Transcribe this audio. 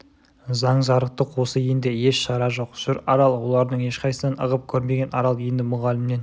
заң жарықтық осы енді еш шара жоқ жүр арал олардың ешқайсысынан ығып көрмеген арал енді мұғалімнен